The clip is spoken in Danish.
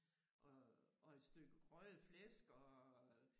Og og et stykke røget flæsk og øh